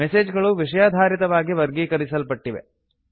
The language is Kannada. ಮೆಸೆಜ್ ಗಳು ವಿಷಯಾಧಾರಿತವಾಗಿ ವರ್ಗೀಕರಿಸಲ್ಪಟ್ಟಿವೆ